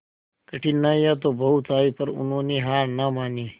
कठिनाइयां तो बहुत आई पर उन्होंने हार ना मानी